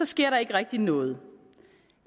sker der ikke rigtig noget